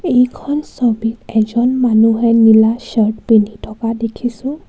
এইখন ছবিত এজন মানুহে নীলা চাৰ্ত পিন্ধি থকা দেখিছোঁ.